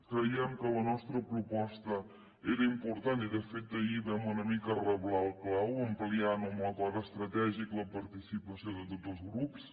creiem que la nostra proposta era important i de fet ahir vam una mica reblar el clau ampliant ho amb l’acord estratègic la participació de tots els grups